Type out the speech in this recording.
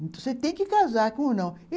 Você tem que casar, como não?